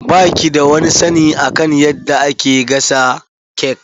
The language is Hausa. Ba ki da wani sani akan eyadda ake gasa cake.